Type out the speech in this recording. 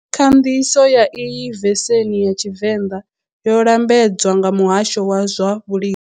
Khanḓiso ya iyi vesenhi ya Tshivenda yo lambedzwa nga muhasho wa swa Vhulimi.